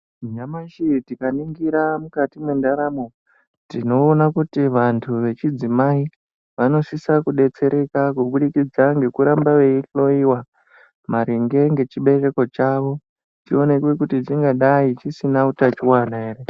Nyamashi tikaningira mukati mwendaramo, tinoona kuti vantu vechidzimai vanosisa kudetsereka kubudikidza ngekuramba veyi hloyiwa maringe ngechibereko chavo, chionekwe kuti chingadai chisina utachiwana ere.